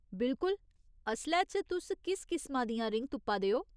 बिल्कुल, असलै च, तुस कुस किसमा दियां रिङ तुप्पा दे ओ ?